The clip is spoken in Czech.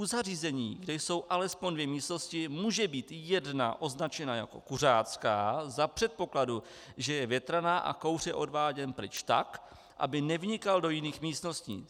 U zařízení, kde jsou alespoň dvě místnosti, může být jedna označena jako kuřácká za předpokladu, že je větraná a kouř je odváděn pryč tak, aby nevnikal do jiných místností.